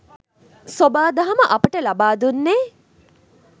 සොබා දහම අපට ලබා දුන්නේ